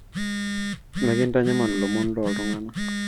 mikitanyamal lomon lo tunganak